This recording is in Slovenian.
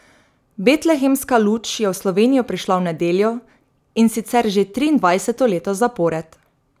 Betlehemska luč je v Slovenijo prišla v nedeljo, in sicer že triindvajseto leto zapored.